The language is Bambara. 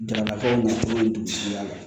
Daba ko nafa bɛ dugutigi la